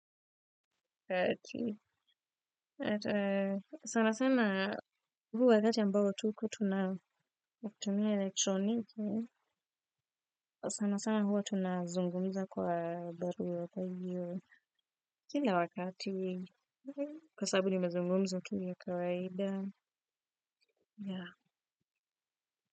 Sana sana huu wakati ambao tuko tuna tumia elektroniki, sana sana huwa tunazungumza kwa barua kahiyo, kila wakati, kwa sababu nimazungumzo tu ya kawaida.